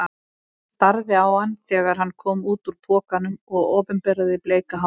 Hún starði á hann þegar hann kom út úr pokanum og opinberaði bleika hárið.